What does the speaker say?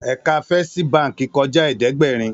Èkà Fèstí bànkí kòjá ẹ̀ẹ́dẹ́gbẹ́rin